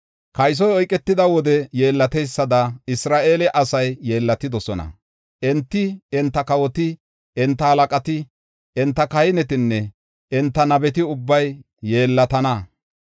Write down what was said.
“Kaysoy oyketida wode yeellateysada Isra7eele asay yeellatidosona; enti, enta kawoti, enta halaqati, enta kahinetine enta nabeti ubbay yeellatana.